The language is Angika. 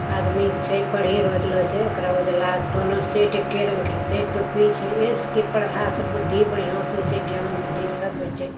आदमी छे पढ़ी रहलो छे ओकरा उजला दोनो सेट एके रंग के छे टोपी छे इसके पढ़ला से बुद्धि बढ़िया से छे ज्ञान बुद्धि सब होइ छे |